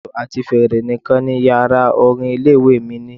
Ìlù àti fèrè nìkan ni Yàrá orin ilé ìwée mi ní.